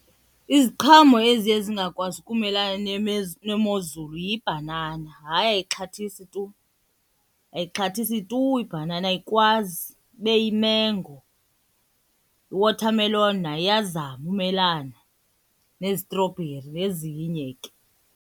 Iziqhamo eziye zingakwazi ukumelana nemozulu yibhanana. Hayi, ayixhathisi tu, ayixhathisi tu ibhanana ayikwazi. Ibe yimengo, i-watermelon nayo iyazama umelana, nezitrobheri nezinye ke.